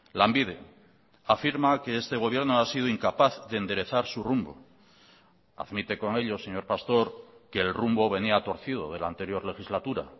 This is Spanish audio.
lanbide afirma que este gobierno ha sido incapaz de enderezar su rumbo admite con ello señor pastor que el rumbo venía torcido de la anterior legislatura